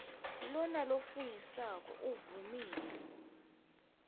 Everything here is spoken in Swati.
lona lofungisako uvumile